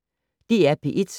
DR P1